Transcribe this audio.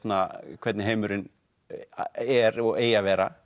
hvernig heimurinn er og eigi að vera